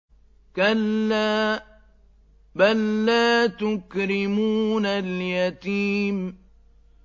كَلَّا ۖ بَل لَّا تُكْرِمُونَ الْيَتِيمَ